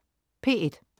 P1: